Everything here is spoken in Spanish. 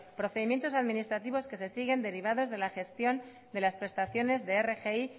procedimientos administrativos que se siguen derivados de la gestión de las prestaciones de rgi